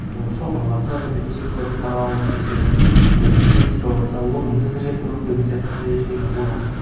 ол шоқыныватса бүйтіп жек көріп қарау немесе біреу бет сипаватса оның бізді жек көру деген сияқты ондай ештеңе болған жоқ